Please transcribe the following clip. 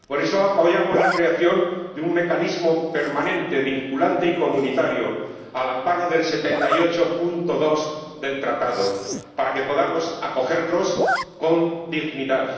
Por eso apoyamos la creación de un mecanismo permanente, vinculante y comunitario, al amparo del artículo 78, apartado 2, del Tratado, para que podamos acogerlos con dignidad.